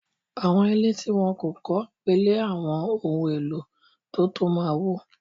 Àwọn ilé tí wọ́n kò kọ́ pẹ̀lẹ́ àwọn ohun-èlò tó tọ́ ma wó.